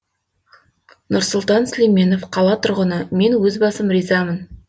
нұрсұлтан сүлейменов қала тұрғыны мен өз басым ризамын